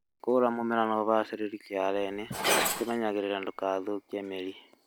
Munya mũmera na ũbacĩrĩri gĩitoinĩ ũkĩmenyagĩrĩra ndũgathũkie mĩrita